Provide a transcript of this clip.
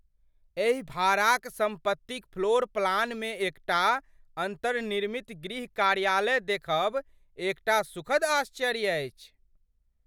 एहि भाड़ाक सम्पतिक फ्लोर प्लानमे एकटा अन्तर्निर्मित गृह कार्यालय देखब एकटा सुखद आश्चर्य अछि।